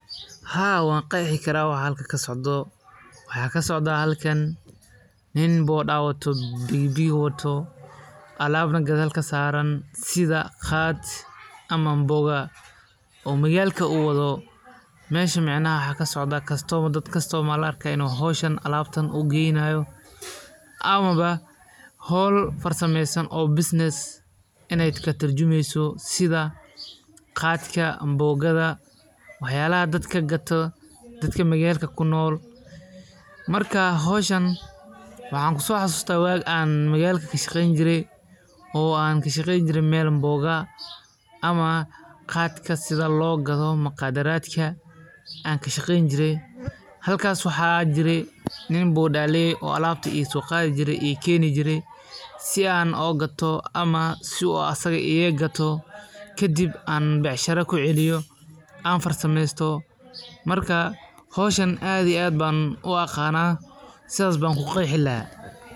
Haa wan qexi karaa waxa halkan kasocdo, waxa kasocda nin bodaa wato Shaqadiisu waxay door muhiim ah ka ciyaartaa isku xirka bulshada, gaar ahaan meelaha aan si fudud loo heli karin gaadiid dadweyne oo waaweyn. Ninkan wuxuu ku dadaalaa in uu si degdeg ah oo ammaan ah ku gaarsiiyo macaamiishiisa halkii ay rabaan, isagoo inta badan la kulma cimilada adag, taraafikada, iyo khataraha waddooyinka. Inkasta oo ay tahay shaqo adag, haddana waa mid muhiim u ah dhaqaalaha magaalada iyo nolol maalmeedka dad badan.